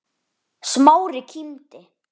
Smári kímdi.